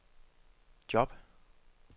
job